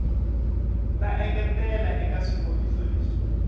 ta engetela eka swikombiso leswi